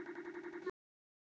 Þau búa í Eyjum.